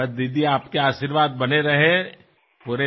আৰু টেলিফোনত তেওঁ মোক আশীৰ্বাদ দিয়াত মই অতিশয় সুখী হৈছিলো